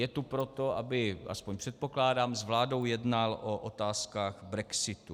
Je tu proto, aby - aspoň předpokládám - s vládou jednal o otázkách brexitu.